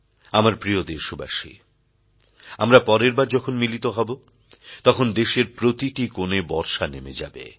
আমার প্রিয় দেশবাসী আমরা পরের বার যখন মিলিত হব তখন দেশের প্রতিটি কোণে বর্ষা নেমে যাবে